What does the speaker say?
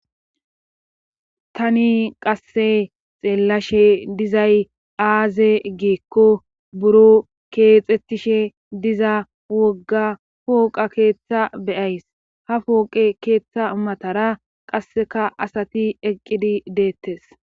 Tani qasse xeellashe dizay aaze geekko buro keexettishe diza wogga pooqa keeththa beyays ha pooqe keeththa matara qasseka asati eqqidi deettes.